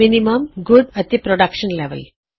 ਘੱਟਵੱਦੀਆ ਅਤੇ production level